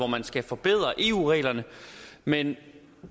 man skal forbedre eu reglerne men